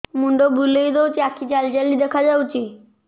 ମୁଣ୍ଡ ବୁଲେଇ ଦଉଚି ଆଖି ଜାଲି ଜାଲି ଦେଖା ଯାଉଚି